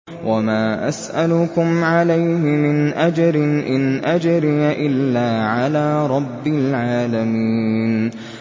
وَمَا أَسْأَلُكُمْ عَلَيْهِ مِنْ أَجْرٍ ۖ إِنْ أَجْرِيَ إِلَّا عَلَىٰ رَبِّ الْعَالَمِينَ